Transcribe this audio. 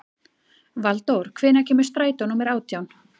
Valdór, hvenær kemur strætó númer átján?